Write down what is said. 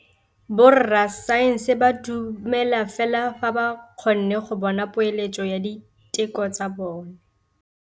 Borra saense ba dumela fela fa ba kgonne go bona poeletsô ya diteko tsa bone.